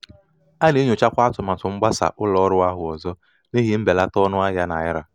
a na-enyochakwa atụmatụ mgbasa ụlọ ọrụ ahụ ọzọ n'ihi mbelata ọnụ ahịa naira.